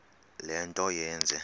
le nto yenze